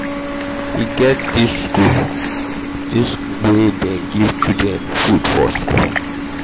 e get di skool di skool dem wey dey give children food for skool.